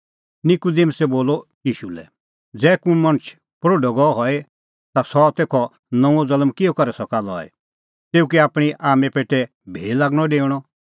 निकूदिमुसै बोलअ ईशू लै ज़ै कुंण मणछ प्रोढअ गअ हई ता सह तेखअ नऊंअ ज़ल्म किहअ करै सका लई तेऊ कै आपणीं आम्में पेटै भी लागणअ डेऊणअ